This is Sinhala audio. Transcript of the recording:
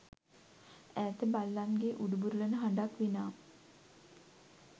ඈත බල්ලන්ගේ උඩුබුරලන හඬක් විනා